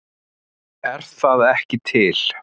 Er það ekki til?